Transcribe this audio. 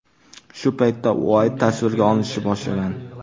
Shu paytda Uayt tasvirga olishni boshlagan.